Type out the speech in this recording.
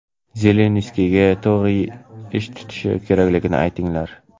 Zelenskiyga to‘g‘ri ish tutish kerakligini aytinglar.